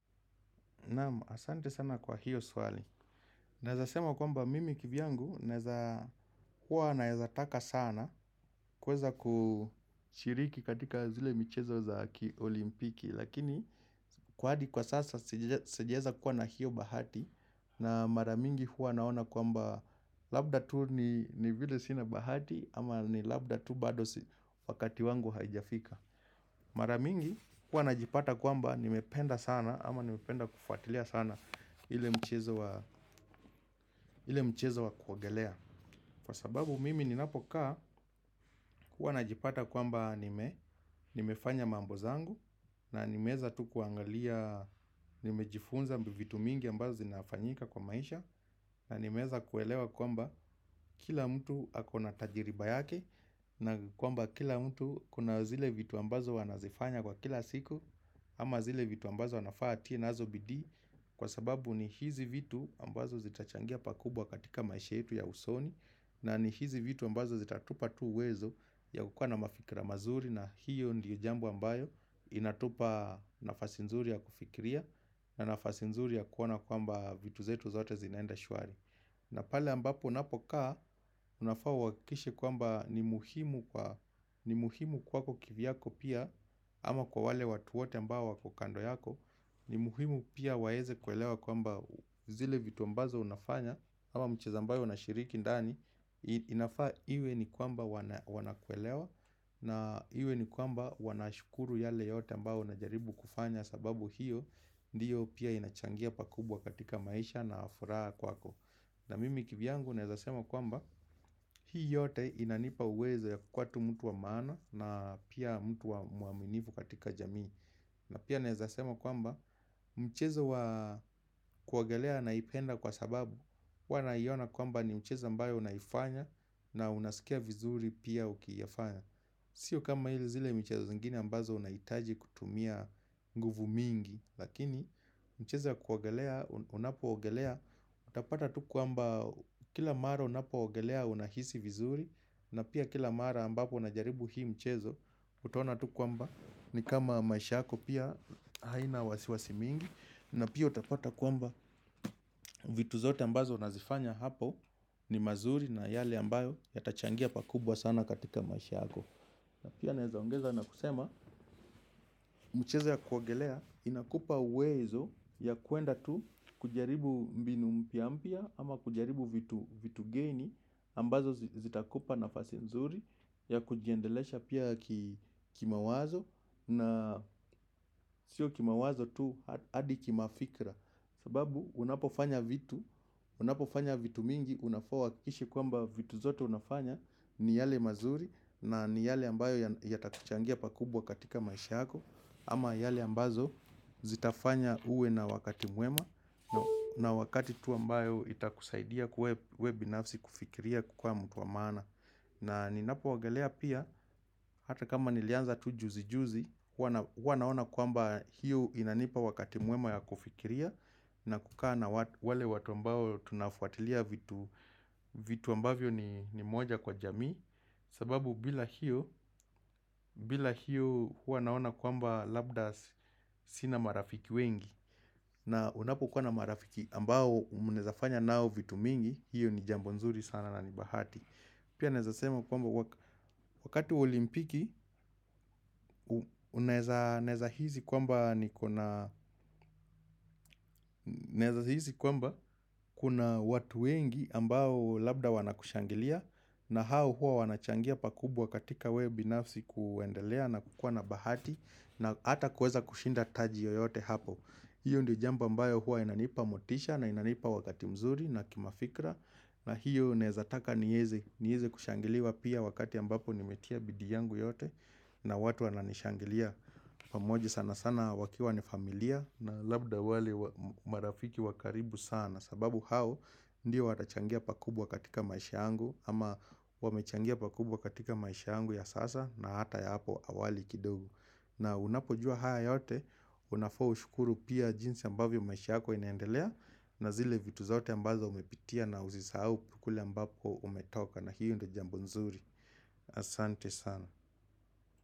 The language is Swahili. Naam, asante sana kwa hiyo swali. Naezasema kwamba mimi kivyangu huwa naezataka sana kuweza kushiriki katika zile michezo za olimpiki. Lakini kwa hadi kwa sasa sijaeza kuwa na hiyo bahati na maramingi huwa naona kwamba labda tu ni vile sina bahati ama ni labda tu badosi wakati wangu haijafika. Maramingi huwa najipata kwamba nimependa sana ama nimependa kufuatilia sana ile mchezo wa kuogelea Kwa sababu mimi ni napoka huwa na jipata kwamba nimefanya mambo zangu na nimeeza tu kuangalia Nimejifunza mbivitu mingi ambazo zinafanyika kwa maisha na nimeeza kuelewa kwamba Kila mtu akona tajiriba yake na kwamba kila mtu Kuna zile vitu ambazo anazifanya Kwa kila siku ama zile vitu ambazo anafaa atie nazo bidii sababu ni hizi vitu ambazo zitachangia pakubwa katika maisha yetu ya usoni na ni hizi vitu ambazo zitatupa tu uwezo ya kukuwa na mafikira mazuri na hiyo ndiyo jambo ambayo inatupa nafasinzuri ya kufikiria na nafasinzuri ya kuona kwamba vitu zetu zote zinaenda shwari na pale ambapo napokaa unafaa uakikishe kwamba ni muhimu kwako kivyako pia ama kwa wale watu wote ambao wako kando yako ni muhimu pia waeze kuelewa kwamba zile vitu ambazo unafanya ama mchezo ambayo una shiriki ndani inafaa iwe ni kwamba wanakuelewa na iwe ni kwamba wanashukuru yale yote ambayo unajaribu kufanya sababu hiyo ndiyo pia inachangia pakubwa katika maisha na furaha kwako na mimi kivyangu naezasema kwamba Hii yote inanipa uwezo ya kuwa tu mtu wa maana na pia mtu wa muaminivu katika jamii na pia naezasema kwamba mchezo kuogelea naipenda kwa sababu huwa naiona kwamba ni mchezo ambayo unaifanya na unasikia vizuri pia ukiyafanya Sio kama hili zile mchezo zingine ambazo unaitaji kutumia nguvu mingi Lakini mchezo wa kuogelea unapo ogelea utapata tu kwamba kila mara unapo ogelea unahisi vizuri na pia kila mara ambapo na jaribu hii mchezo, utaona tu kwamba ni kama maishako pia haina wasiwasi mingi. Na pia utapata kwamba vitu zote ambazo unazifanya hapo ni mazuri na yale ambayo ya tachangia pakubwa sana katika maisha yako. Na pia naezaongeza na kusema, mchezo ya kuogelea inakupa uwezo wa kuenda tu kujaribu mbinu mpyampya ama kujaribu vitu geni ambazo zitakupa nafasi mzuri ya kujiendelesha pia kima wazo na sio kima wazo tu hadi kima fikra sababu unapofanya vitu unapofanya vitu mingi unafaa huakikishe kwamba vitu zote unafanya ni yale mazuri na ni yale ambayo yatakuchangia pakubwa katika maisha yako ama yale ambazo zitafanya uwe na wakati mwema na wakati tu ambayo ita kusaidia huwe binafsi kufikiria kukuwa mtu wa maana na ninapoogelea pia, hata kama nilianza tujuzi juzi Huwa naona kwamba hiyo inanipa wakati mwema ya kufikiria na kukaa na wale watu ambao tunafuatilia vitu ambavyo ni moja kwa jamii sababu bila hiyo, bila hiyo huwa naona kwamba labdas sina marafiki wengi na unapo kuwa na marafiki ambao mnaezafanya nao vitu mingi, hiyo ni jambonzuri sana na nibahati. Pia naeza sema kwamba wakati olimpiki, unaeza hizi kwamba kuna watu wengi ambao labda wanakushangilia na hao huwa wanachangia pakubwa katika wewe binafsi kuendelea na kukua na bahati na ata kuweza kushinda taji yoyote hapo. Hiyo ndio jambo ambayo huwa inanipa motisha na inanipa wakati mzuri na kimafikra na hiyo naezataka nieze kushangiliwa pia wakati ambapo nimetia bidii yangu yote na watu wananishangilia. Pamoja sana sana wakiwa ni familia na labda wale marafiki wakaribu sana sababu hao ndio watachangia pakubwa katika maisha yangu ama wamechangia pakubwa katika maisha yangu ya sasa na hata ya hapo awali kidogo. Na unapojua haya yote, unafaa ushukuru pia jinsi ambavyo maisha yako inaendelea na zile vitu zote ambazo umepitia na usisahau kule ambapo umetoka na hiyo ndio jambo nzuri Asante sana.